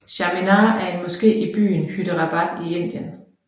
Charminar er en moské i byen Hyderabad i Indien